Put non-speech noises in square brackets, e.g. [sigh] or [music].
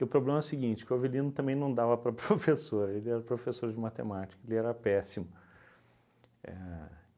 E o problema é o seguinte, que o Avelino também não dava para [laughs] professor, ele era professor de matemática, ele era péssimo. A